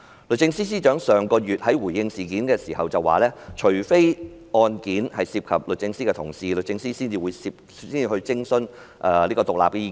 律政司司長上月在回應事件時表示，除非案件涉及律政司的同事，律政司才會徵詢獨立意見。